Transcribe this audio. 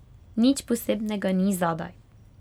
Nič posebnega ni zadaj.